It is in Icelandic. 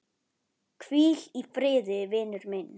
Hvíl í friði, vinur minn.